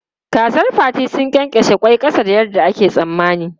Kazar Fati sun ƙyenƙyashe ƙwai ƙasa da yadda ake tsammani.